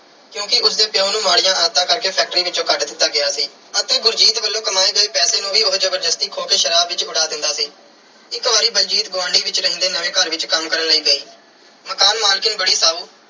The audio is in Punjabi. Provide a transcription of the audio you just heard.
ਕਿਉਂਕਿ ਉਸ ਦੇ ਪਿਉ ਨੂੰ ਮਾੜੀਆਂ ਆਦਤਾਂ ਕਰਕੇ factory ਵਿੱਚੋਂ ਕੱਢ ਦਿੱਤਾ ਗਿਆ ਸੀ ਅਤੇ ਬਲਜੀਤ ਵੱਲੋਂ ਕਮਾਏ ਗਏ ਪੈਸੇ ਨੂੰ ਵੀ ਉਹ ਜ਼ਬਰਦਸਤੀ ਖੋਹ ਕੇ ਸ਼ਰਾਬ ਵਿੱਚ ਉਡਾ ਦਿੰਦਾ ਸੀ। ਇੱਕ ਵਾਰੀ ਬਲਜੀਤ ਗੁਆਂਢ ਵਿੱਚ ਰਹਿੰਦੇ ਨਵੇਂ ਘਰ ਵਿੱਚ ਕੰਮ ਕਰਨ ਲਈ ਗਈ। ਮਕਾਨ ਮਾਲਕਣ ਬੜੀ ਸਾਊ